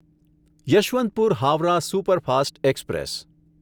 Yesvantpur Howrah superfast express